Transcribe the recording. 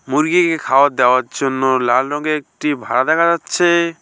মুরগিকে খাওয়ার দেওয়ার জন্য লাল রঙের একটি ভারা দেখা যাচ্ছে।